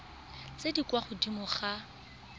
tse di kwa godimo ga